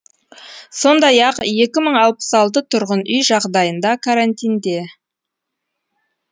сондай ақ екі мың алпыс алты тұрғын үй жағдайында карантинде